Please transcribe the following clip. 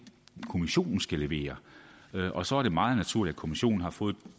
kommissionen skal levere og så er det meget naturligt at kommissionen har fået